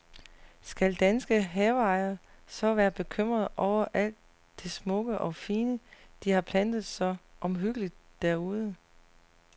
Skal danske haveejere så være bekymrede over alt det smukke og fine, de har plantet så omhyggeligt derude.